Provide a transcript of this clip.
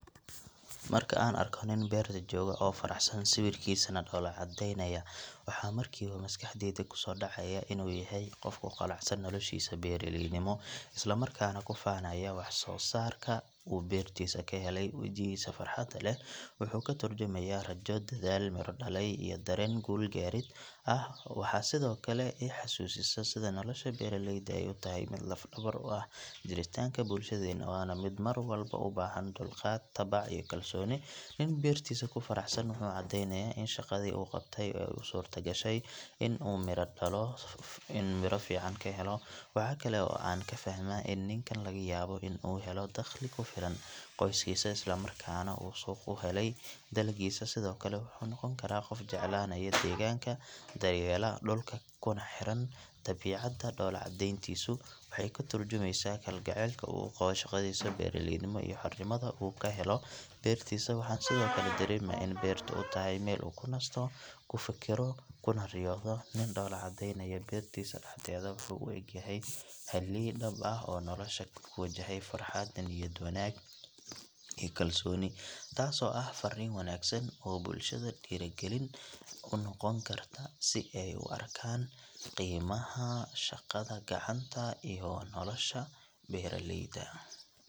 Marka aan arko nin beerta jooga oo faraxsan sawirkiisana dhoolla caddeynaya waxa markiiba maskaxdayda ku soo dhacaya inuu yahay qof ku qanacsan noloshiisa beeraleynimo isla markaana ku faanaya wax soo saarka uu beertiisa ka helay wejigiisa farxadda leh wuxuu ka turjumayaa rajo, dadaal miro dhalay iyo dareen guul gaarid ah waxay sidoo kale i xasuusisaa sida nolosha beeraleyda ay u tahay mid lafdhabar u ah jiritaanka bulshadeenna waana mid mar walba u baahan dulqaad, tacab iyo kalsooni nin beertiisa ku faraxsan wuxuu caddeynayaa in shaqadii uu qabtay ay u suurto gashay in uu midho fiican ka helo waxa kale oo aan ka fahmaa in ninkan laga yaabo in uu helo dakhli ku filan qoyskiisa islamarkaana uu suuq u helay dalaggiisa sidoo kale wuxuu noqon karaa qof jeclaanaya deegaanka daryeela dhulka kuna xiran dabiicadda dhoolla caddeyntiisu waxay ka turjumaysaa kalgacaylka uu u qabo shaqadiisa beeraleynimo iyo xornimada uu ka helo beertiisa waxaan sidoo kale dareemaa in beertu u tahay meel uu ku nasto, ku fikirto kuna riyoodo nin dhoola caddeynaya beertiisa dhexdeeda wuxuu u eg yahay halyeey dhab ah oo nolosha ku wajahaya farxad, niyad wanaag iyo kalsooni taasoo ah farriin wanaagsan oo bulshada dhiirrigelin u noqon karta si ay u arkaan qiimaha shaqada gacanta iyo nolosha beeraleyda.